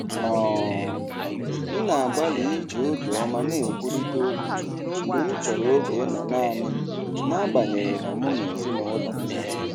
um M na-agbalị iji obiọma na-ekwurịta okwu mgbe m chọrọ oge ịnọ naanị m n’agbanyeghị na mụ na ezinụlọ m nọ.